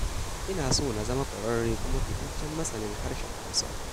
Ina so na zama ƙwararre kuma fitaccen masanin Harshen Hausa.